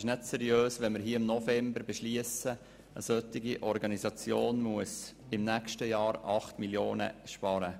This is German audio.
Es ist nicht seriös, hier im November zu beschliessen, eine solche Organisation müsse im nächsten Jahr 8 Mio. Franken sparen.